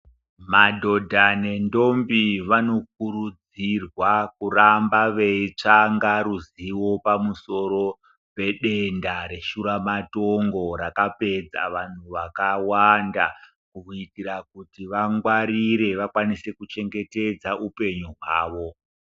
Madhodha nendombi vanokurudzirwa kuramba veitsvanga ruzivo pamusoro pedenda reshura matongo rakapedza vanthu vakawanda kuti vangwarire vakone kuchengetedza upenyu hwavo.